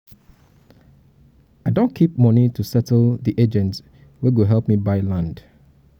i don keep moni to settle di agent wey go help me buy land.